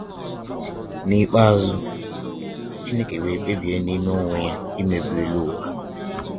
N'ikpeazu, Chineke wee kpebie n'ime onwe ya imebi elu ụwa